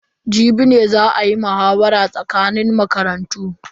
Jibi ne za a yi muhawara tsakanin makarantun.